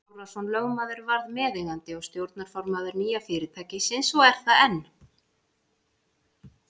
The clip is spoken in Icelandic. Snorrason lögmaður varð meðeigandi og stjórnarformaður nýja fyrirtækisins og er það enn.